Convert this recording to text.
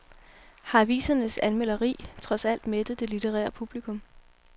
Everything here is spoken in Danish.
Har avisernes anmelderi trods alt mættet det litterære publikum?